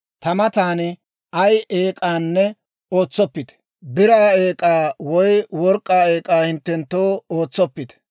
Ta matan ay eek'aanne ootsoppite; biraa eek'aa woy work'k'aa eek'aa hinttenttoo ootsoppite.